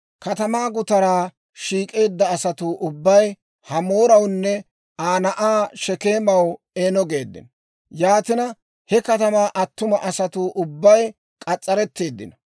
Katamaa gutaraa shiik'eedda asatuu ubbay Hamoorawunne Aa na'aa Shekeemaw, «Eeno» geeddino. Yaatina he katamaa attuma asatuu ubbay k'as's'aretteeddino.